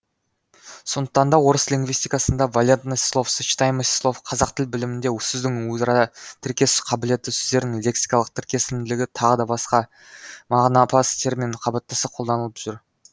сондықтан да орыс лингвистикасында валентность слов сочетаемость слов қазақ тіл білімінде сөздің өзара тіркесу қабілеті сөздердің лексикалық тіркесімділігі тағы басқа мағынапас термин қабаттаса қолданылып жүр